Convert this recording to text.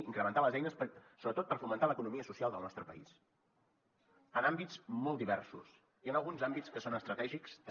incrementar les eines sobretot per fomentar l’economia social del nostre país en àmbits molt diversos i en alguns àmbits que són estratègics també